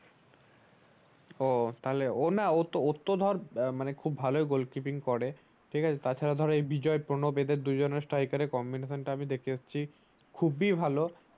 ও না ওর তো ধর খুব ভালোই গোলকিপিং করে ঠিক আছে তা ছাড়া ধর এ বিজয় প্রণব এদের দুজনের sticker combination টা দেখে আসছি খুব ই ভালো